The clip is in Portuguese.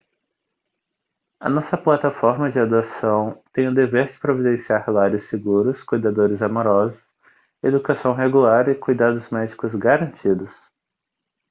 a nossa plataforma de adoção tem o dever de providenciar lares seguros cuidadores amorosos educação regular e cuidados médicos garantidos